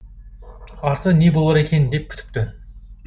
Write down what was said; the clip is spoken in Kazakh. арты не болар екен деп күтіпті